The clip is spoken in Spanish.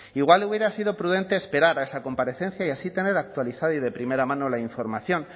igual le hubiera sido prudente esperar a esa comparecencia y así tener actualizada y de primera mano la información